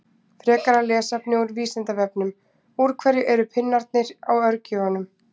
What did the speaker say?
Frekara lesefni af Vísindavefnum: Úr hverju eru pinnarnir á örgjörvum?